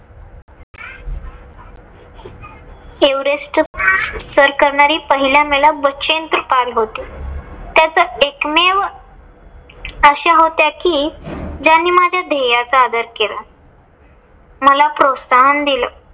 Everest सर करणारी पहिल्या महिला बछेन्द्री पाल होत्या. त्याच एकमेव अशा होत्या कि ज्यांनी माझ्या धेय्याचा आदर केला. मला प्रोत्साहन दिलं.